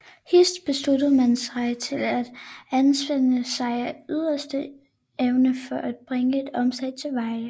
Hist besluttede man sig til at anspænde sig af yderste evne for at bringe et omslag til veje